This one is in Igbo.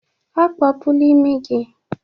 Akpọpula imi gị!